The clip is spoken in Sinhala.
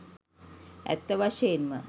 ඇත්ත වශයෙන්ම